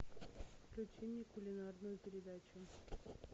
включи мне кулинарную передачу